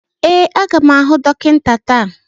Ee, a ga m ahụ dọkịta taa